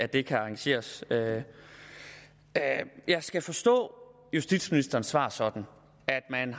det kan arrangeres jeg skal forstå justitsministerens svar sådan at man